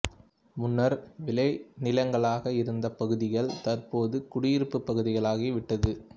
முன்னர் விளை நிலங்களாக இருந்த பகுதிகள் தற்போது குடியிருப்பு பகுதிகளாகிவிட்டது